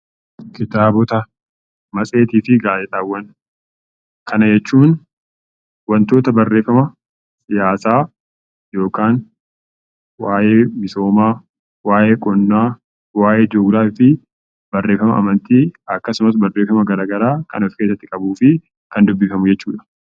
Kitaabota, matseetii fi gaazexaawwan Kana jechuun wantoota barreeffama siyaasaa yookaan waayee misoomaa, waayee qonnaa, waayee jiyoogiraafii fi barreeffama amantii akkasumas barreeffama garaagaraa kan of keessatti qabuu fi kan dubbifamu jechuu dha.